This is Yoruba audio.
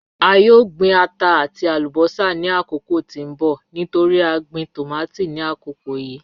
A yoo gbin ata ati alubosa ni akoko ti n bọ nitori a gbin tomati ni akoko yii